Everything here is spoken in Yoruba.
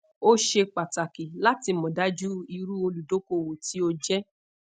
o ṣe pataki lati modaju iru oludokoowo ti o jẹ